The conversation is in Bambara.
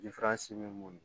bɛ mun